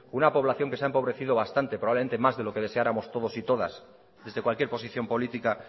una población que se ha empobrecido bastante probablemente más de lo que deseáramos todos y todas desde cualquier posición política